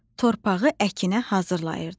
Torpağı əkinə hazırlayırdı.